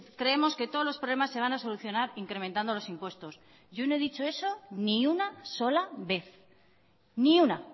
creemos que todos los problemas se van a solucionar incrementando los impuestos yo no he dicho eso ni una sola vez ni una